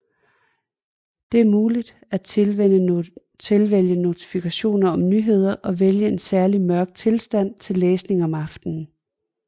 Det er muligt at tilvælge notifikationer om nyheder og vælge en særlig mørk tilstand til læsning om aftenen